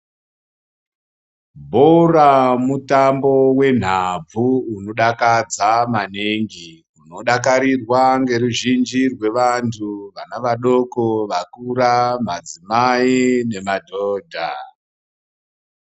Bhora mutambo wenhabvu unokadza maningi unodakarirwa ngeruzhinji rwevanthu vana vadoko vakura madzimai nemadhodha.